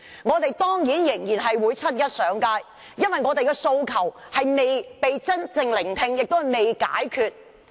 當然，我們仍會在7月1日上街，因為我們的訴求未被真正聆聽，也未得到解決。